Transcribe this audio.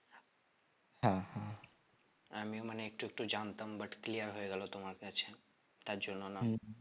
আমিও মানে একটু একটু ও জানতাম but clear হয়ে গেল তোমার কাছে তার জন্য না